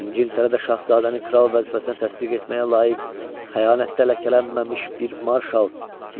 İngiltərədə şahzadəni kral vəzifəsinə təsdiq etməyə layiq, xəyanətlə ləkələnməmiş bir marşal